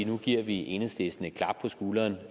nu giver enhedslisten et klap på skulderen